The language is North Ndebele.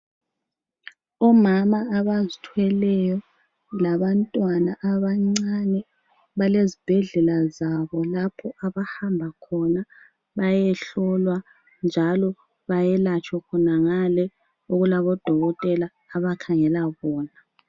Omama abazithweleyo labantwana abancane balezibhedlela zabo lapho abahamba khona bayehlolwa njalo bayelatshwe khonangale okulabodokotela abakhangela bona.